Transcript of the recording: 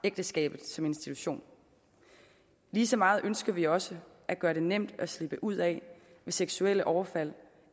ægteskabet som institution lige så meget ønsker vi også at gøre det nemt at slippe ud af det hvis seksuelle overfald